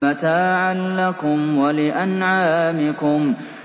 مَّتَاعًا لَّكُمْ وَلِأَنْعَامِكُمْ